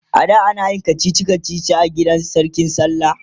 ada anayin kachichi kachichi a gidan sarki da sallah